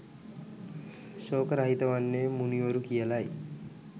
ශෝක රහිත වන්නේ මුනිවරු කියලයි.